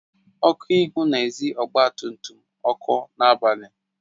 Ọku ihu na-ezi ọgba tum tum ọkụ n'abalị